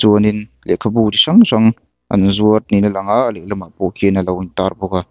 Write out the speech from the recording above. chuanin lehkhabu chi hrang hrang an zuar niin a lang a a lehlamah pawh khian alo intar bawk a.